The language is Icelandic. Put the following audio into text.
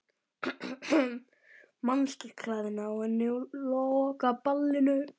Manstu klæðnaðinn á henni á lokaballinu?